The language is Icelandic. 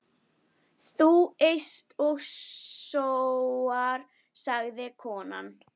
Þú eyst og sóar, sagði konan.